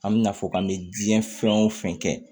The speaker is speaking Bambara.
An bɛ na fɔ k'an bɛ jiɲɛ fɛn o fɛn kɛ